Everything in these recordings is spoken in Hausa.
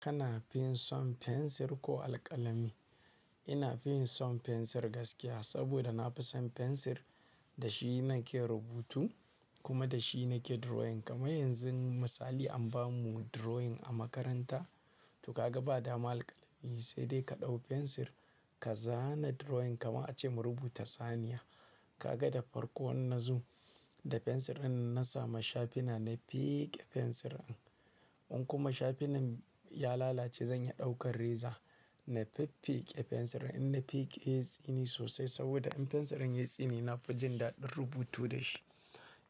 Kana fin son fensir ko alƙalami? Ina fin son fensir gaskiya, saboda na fi son fensir da shi na ke rubutu kuma da shi na ke drawing. Kamar yanzu misali an ba mu drawing a makaranta, to ka ga ba daman alƙalami, sai dai ka ɗauko fensir ka zana drawing. Kamar ace mu rubuta Saniya. Ka ga da farko inna zo da fensirin na samu shafina, na feƙe fensirin. In kuma shafina ya lalace, zan iya ɗaukar reza na fiffiƙe fensirin. In na fiƙe yatsini sosai saboda in fensirin ya tsine, na fi jin daɗin rubutu da shi.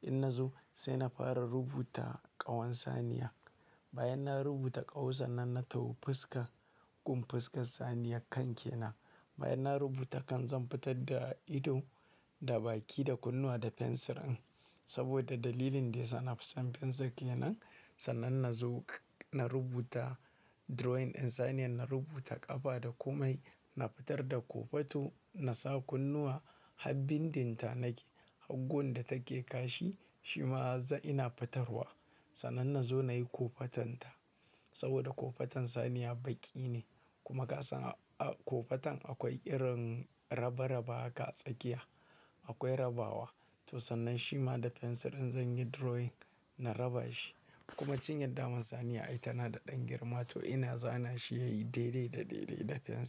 In na zo sai na fara rubuta ƙawan Saniya. Bayan na rubuta ƙawu, sannan na taho fuska, gun fuskar Saniyar kan ke nan. Bayan na rubuta kan zan fitar da ido, da baki, da kunnuwa da fensirin. Saboda dalilin dai sa na fi son fensir ke nan. Sannan na zo na rubuta drawing in Saniyan na rubuta ƙafa da ƙumai. Na fitar da ƙofato, na sa kunnuwa, har bindinta nake. Har gun da take kashi shi ma ina fitarwa. Sannan na zo na yi ƙofatanta. Saboda ƙofatan Saniya baƙi ne kuma kasan a ƙofatan akwai irin raba-raba ga tsakiya, akwai rabawa. To sannan shi ma da fensirin zan yi drawing, na raba shi. Kuma cinyar daman Saniya ai tana da ɗan girma, to ina zana shi ya yi daidai daidai da fensir.